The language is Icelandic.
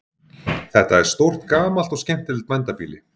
Þetta er stórt gamalt og skemmtilegt bændabýli.